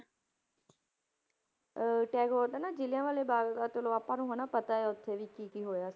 ਅਹ ਟੈਗੋਰ ਦਾ ਨਾ ਜ਼ਿਲਿਆ ਵਾਲਾ ਬਾਗ਼ ਦਾ ਚਲੋ ਆਪਾਂ ਨੂੰ ਹਨਾ ਪਤਾ ਹੈ ਉੱਥੇ ਵੀ ਕੀ ਕੀ ਹੋਇਆ,